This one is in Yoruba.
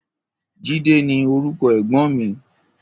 Jide ni órúkò ègbòn mi